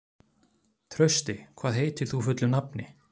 Trausti, hvað heitir þú fullu nafni?